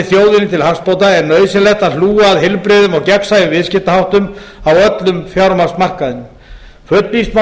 þjóðinni til hagsbóta er nauðsynlegt að hlúa að heilbrigðum og gagnsæjum viðskiptaháttum á öllum fjármagnsmarkaðinum fullvíst má